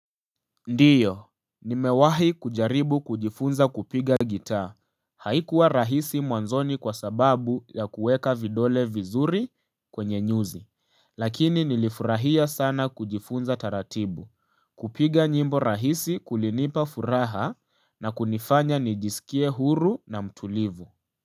Ndiyo, nimewahi kujaribu kujifunza kupiga gitaa, haikuwa rahisi mwanzoni kwa sababu ya kuweka vidole vizuri kwenye nyuzi, lakini nilifurahia sana kujifunza taratibu, kupiga nyimbo rahisi kulinipa furaha na kunifanya nijisikie huru na mtulivu.